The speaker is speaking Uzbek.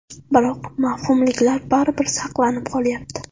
Biroq mavhumliklar baribir saqlanib qolyapti.